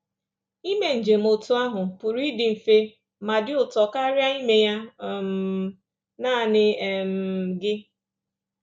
Ime njem otú ahụ pụrụ ịdị mfe ma dị ụtọ karịa ime ya um nanị um gị